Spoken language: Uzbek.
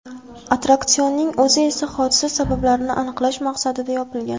Attraksionning o‘zi esa hodisa sabablarini aniqlash maqsadida yopilgan.